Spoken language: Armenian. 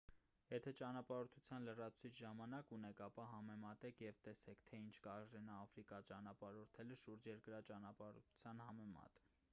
եթե ​​ճանապարհորդության լրացուցիչ ժամանակ ունեք ապա համեմատեք և տեսեք թե ինչ կարժենա աֆրիկա ճանապարհորդելը՝ շուրջերկրյա ճանապարհորդության համեմատ: